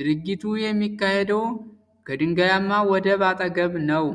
ድርጊቱ የሚካሄደው ከድንጋያማ ወደብ አጠገብ ነው።